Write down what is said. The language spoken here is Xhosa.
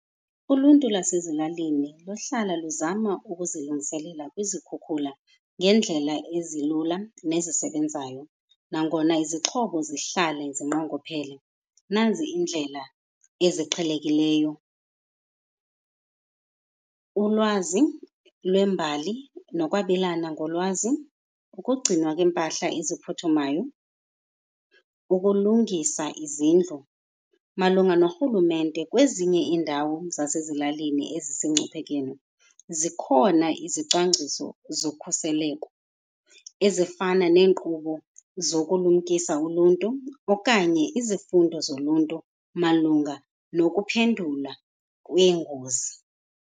Uluntu lwasezilalini luhlala luzama ukuzilungiselela kwizikhukhula ngeendlela ezilula nezisebenzayo. Nangona izixhobo zihlale zinqongophele, nazi iindlela eziqhelekileyo. Ulwazi lwembali nokwabelana ngolwazi, ukugcinwa kweempahla eziphuthumayo, ukulungisa izindlu. Malunga norhulumente kwezinye iindawo zasezilalini ezisengcuphekeni, zikhona izicwangciso zokhuseleko ezifana neenkqubo zokulumkisa uluntu okanye izifundo zoluntu malunga nokuphendula kweengozi.